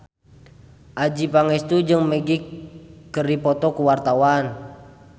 Adjie Pangestu jeung Magic keur dipoto ku wartawan